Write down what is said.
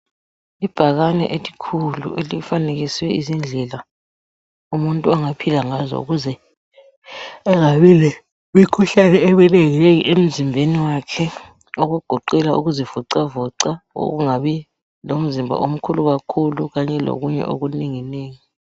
Ibhakane elikhulu elifanekiswe izindlela umuntu angaphila ngazo ukuze engabi lemikhuhlani eminenginengi emzimbeni wakhe okugoqela ukuzi vocavoca okungabi lomzimba omkhulu kakhulu kanye lokunye okunenginengi.